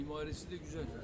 Memarisi də gözəldir.